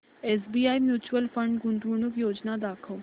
SBI mutual fund गुंतवणूक योजना दाखव